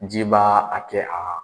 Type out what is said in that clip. Ji b'a kɛ aa